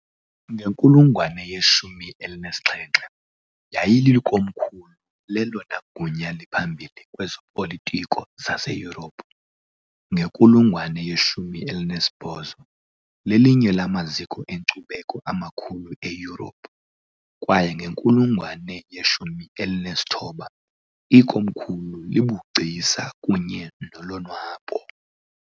Ngenkulungwane yeshumi elinesixhenxe, yayilikomkhulu lelona gunya liphambili kwezopolitiko zaseYurophu, ngenkulungwane ye-18, lelinye lamaziko enkcubeko amakhulu eYurophu, Kwaye ngenkulungwane yeshumi elinesithoba, ikomkhulu lobugcisa kunye nolonwabo.